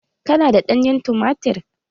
Ka na da ɗanyen tumatir?